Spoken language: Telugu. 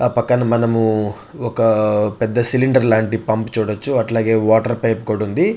ఆ పక్కన మనము ఒక పెద్ద సిలిండర్ లాంటి పంప్ చూడొచ్చు. అట్లాగే వాటర్ పైప్ కూడా ఉంది.